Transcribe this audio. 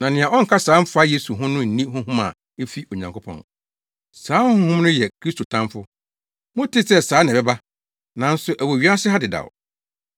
Na nea ɔnka saa mfa Yesu ho no nni honhom a efi Onyankopɔn. Saa honhom no yɛ Kristo tamfo. Motee sɛ saa na ɛbɛba, nanso ɛwɔ wiase ha dedaw.